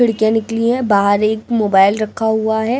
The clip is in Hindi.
लड़कियां निकली है बाहर एक मोबाइल रखा हुआ है।